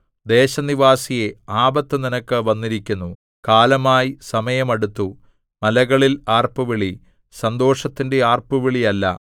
ദേശനിവാസിയേ ആപത്തു നിനക്ക് വന്നിരിക്കുന്നു കാലമായി സമയം അടുത്തു മലകളിൽ ആർപ്പുവിളി സന്തോഷത്തിന്റെ ആർപ്പുവിളിയല്ല